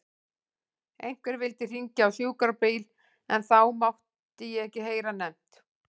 Einhver vildi hringja á sjúkrabíl en það mátti ég ekki heyra nefnt.